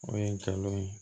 O ye n cɛlon ye